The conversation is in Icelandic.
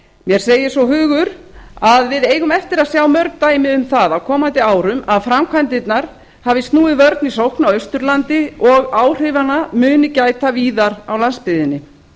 mér segir svo hugur að við eigum eftir að sjá mörg dæmi um það á komandi árum að framkvæmdirnar hafi snúið vörn í sókn á austurlandi og áhrifanna muni gæta víðar á landsbyggðinni